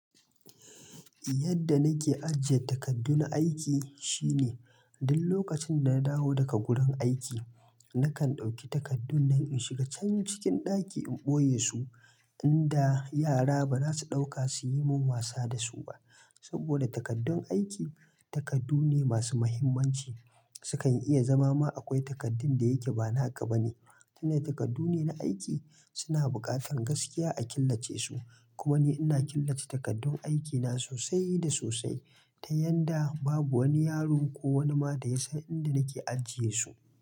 Yadda nake ajiye takardun aiki shi ne, duk lokacin da na dawo daga wurin aiki, nakan ɗauki takardunnan in shiga can cikin ɗaki in ɓoye su in da yara ba za su ɗauka su yi min wasa da su ba. Saboda takardun aiki takardu ne masu muhimmanci. Ta kan iya zama ma akwai takardun da ya ke ba na ka ba ne. Sune takardu ne na aiki, suna buƙatar gaskiya a killace su. Kuma ni ina killace takardun aiki na sosai da sosai ta yanda babu wani yaro ko wani ma da yasan in da na ke ajiye su.